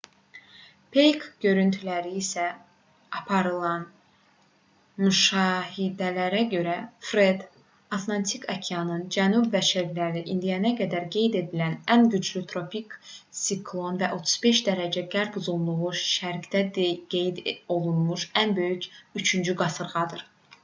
peyk görüntüləri ilə aparılan müşahidələrə görə fred atlantik okeanının cənub və şərqində indiyə qədər qeyd edilən ən güclü tropik siklon və 35° qərb uzunluğundan şərqdə qeyd olunmuş ən böyük üçüncü qasırğadır